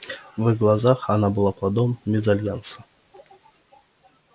в их глазах она была плодом мезальянса